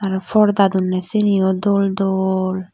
aaro porda donney siyeni o dol dol.